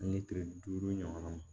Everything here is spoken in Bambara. An ye kile duuru ɲɔgɔn